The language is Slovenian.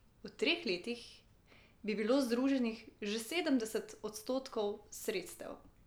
V treh letih bi bilo združenih že sedemdeset odstotkov sredstev.